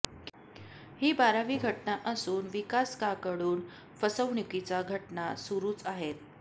ही बारावी घटना असून विकासकांकडून फसवणुकीचा घटना सुरूच आहेत